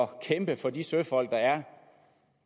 kæmpe for de søfolk der er